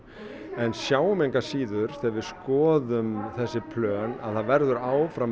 en sjáum engu að síður þegar við skoðum þessi plön að það verður áfram